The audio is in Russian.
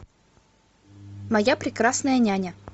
моя прекрасная няня